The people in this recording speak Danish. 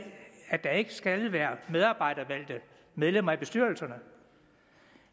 at der ikke skal være medarbejdervalgte medlemmer i bestyrelserne